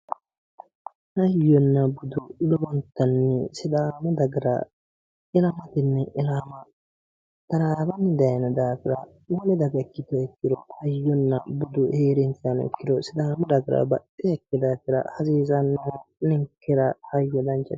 Hayyonna budu lowontanni sidaamu dagara ilmaatenni ilama taraawanni daayiino daafira wole daga ikkiteemmero hayyonna budu heerinsahano ikkiro sidaamu dagahu baxxeeha ikkee daafira baxisanno ninkera hayyo danchate